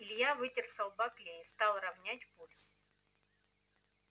илья вытер со лба клей стал ровнять пульс